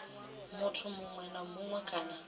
muthu muṅwe na muṅwe kana